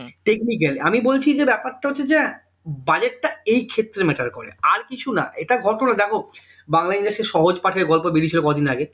Technic আমি বলছি যে ব্যাপারটা হচ্ছে যে budget টা এই ক্ষেত্রে matter করে আর কিছু না এটা করে দেখো বাংলা industry সহজ পাঠের গল্প বেরিয়েছিল কদিন আগে